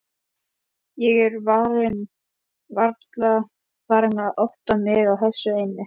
Ég er varla farin að átta mig á þessu enn.